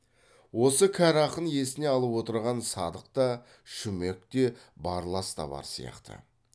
осы кәрі ақын есіне алып отырған садық та шүмек те барлас та бар сияқты